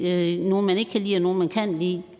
er nogle man ikke kan lide og nogle man kan lide